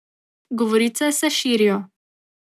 Govorice se širijo.